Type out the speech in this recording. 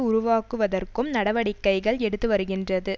உருவாக்குவதற்கும் நடவடிக்கைகள் எடுத்து வருகின்றது